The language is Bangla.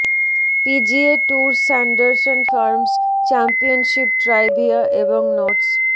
P G A tour Sanderson Farms Championship trivia এবং নোটস